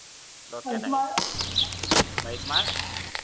डोक्यात आहे म्हैसमाळ